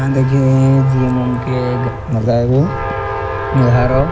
अ देखि जीम उम के घर होअ ।